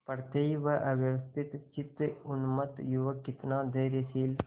पड़ते ही वह अव्यवस्थितचित्त उन्मत्त युवक कितना धैर्यशील